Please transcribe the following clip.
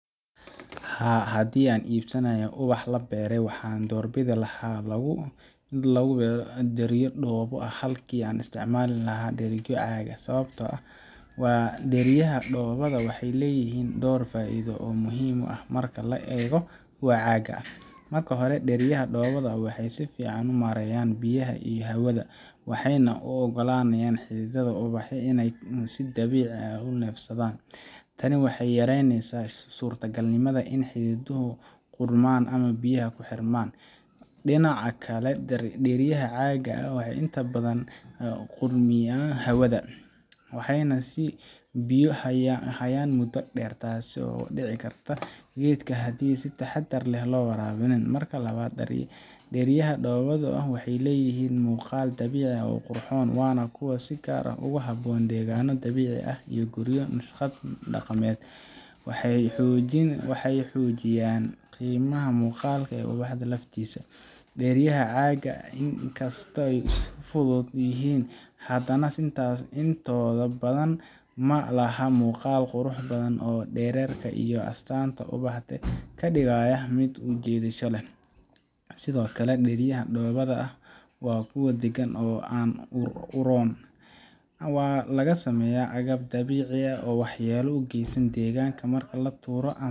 Haa, haddii aan iibsanayo ubax la beeray, waxaan doorbidi lahaa in lagu beero dheryo dhoobo ah halkii laga isticmaali lahaa dheryo caag ah, sababtoo ah dheryaha dhoobada ah waxay leeyihiin dhowr faa’iido oo muhiim ah marka loo eego kuwa caagga ah. Marka hore, dheryaha dhoobada ah waxay si fiican u maareeyaan biyaha iyo hawada, waxayna u oggolaanayaan xididdada ubaxa inay si dabiici ah u neefsadaan. Tani waxay yaraynaysaa suurtagalnimada in xididduhu qudhmaan ama biyaha ay ku xirmaan. Dhinaca kale, dheryaha caagga ah inta badan ma gudbiyaan hawada, waxayna biyo hayaan muddo dheer, taasoo dhaawici karta geedka haddii aan si taxaddar leh loo waraabin. Marka labaad, dheryaha dhoobada ah waxay leeyihiin muuqaal dabiici ah oo qurxoon, waana kuwo si gaar ah ugu habboon deegaanno dabiici ah ama guryo leh naqshad dhaqameed. Waxay xoojiyaan qiimaha muuqaalka ee ubaxa laftiisa. Dheryaha caagga ah inkastoo ay fudud yihiin, haddana intooda badani ma laha muuqaal qurux badan oo dhererka iyo astaanta ubaxa ka dhigaya mid soo jiidasho leh. Sidoo kale, dheryaha dhoobada ah waa kuwo deegaan ahaan u roon. Waa laga sameeyaa agab dabiici ah oo aan waxyeello u geysan deegaanka marka la tuuro ama